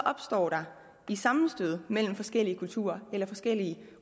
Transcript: opstår der i sammenstødet mellem forskellige kulturer eller forskellige